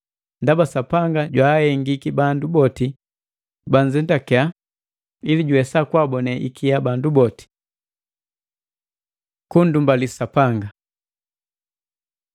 Ndaba Sapanga jwaahengiki bandu boti banzetake ili juwesa kwaabone ikia bandu boti. Kunndumbali Sapanga